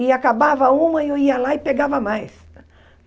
E acabava uma, eu ia lá e pegava mais.